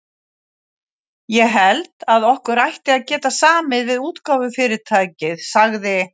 Ég held, að okkur ætti að geta samið við útgáfufyrirtækið sagði